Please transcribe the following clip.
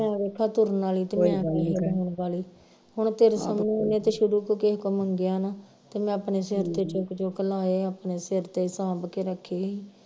ਮੈਂ ਵੇਖਿਆ ਤੁਰਨ ਵਾਲੀ ਤੇ ਮੈਂ ਹੁਣ ਤੇਰੇ ਸਾਹਮਣੇ ਤੇ ਸ਼ੁਰੂ ਤੋਂ ਕਿਹੇ ਕੋਲ ਮੰਗਿਆ ਨਾ ਤੇ ਮੈਂ ਆਪਣੇ ਸਿਰ ਤੇ ਚੁੱਕ ਲਾਏ ਆਪਣੇ ਸਿਰ ਤੇ ਸਾਂਭ ਕੇ ਰੱਖੇ ਹੀ